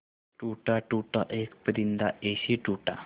टूटा टूटा एक परिंदा ऐसे टूटा